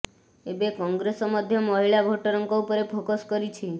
ଏବେ କଂଗ୍ରେସ ମଧ୍ୟ ମହିଳା ଭୋଟରଙ୍କ ଉପରେ ଫୋକସ୍ କରିଛି